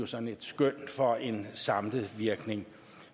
sådan et skøn for en samlet virkning